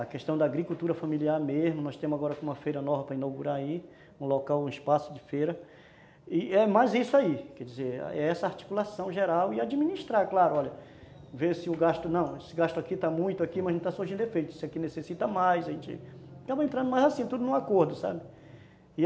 a questão da agricultura familiar mesmo, nós temos agora uma feira nova para inaugurar aí, um local, um espaço de feira e é mais isso aí, quer dizer, é essa articulação geral e administrar, claro, olha ver se o gasto, não, esse gasto aqui está muito aqui, mas não está surgindo efeito, isso aqui necessita mais, a gente acaba entrando mais assim, tudo num acordo, sabe?